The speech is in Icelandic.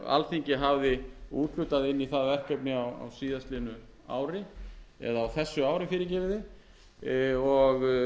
alþingi hafði úthlutað inn í það verkefni á síðastliðnu ári eða á þessu ári og ljóst var að umrætt verkefni var mun dýrara í